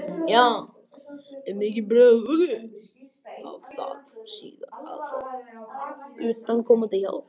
Ef mikið bregður út af þarf síðan að fá utanaðkomandi hjálp.